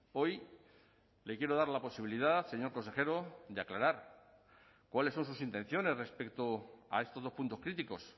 hoy le quiero dar la posibilidad señor consejero de aclarar cuáles son sus intenciones respecto a estos dos puntos críticos